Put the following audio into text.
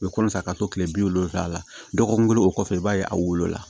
U bɛ kɔnɔ san ka taa so kile bi wolonwula la dɔgɔkun kelen o kɔfɛ i b'a ye a wolola